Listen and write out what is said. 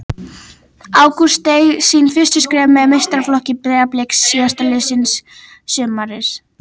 Ágúst steig sín fyrstu skref með meistaraflokki Breiðabliks síðastliðið sumar.